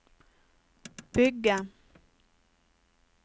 bygge